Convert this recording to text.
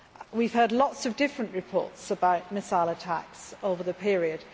We have heard lots of different reports about missile attacks over the period.